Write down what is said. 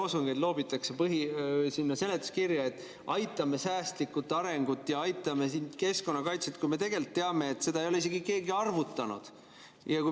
Miks loobitakse seletuskirja niisuguseid lolle loosungeid, et toetame säästlikku arengut ja aitame keskkonnakaitset, kui me tegelikult teame, et seda ei ole isegi keegi arvutanud?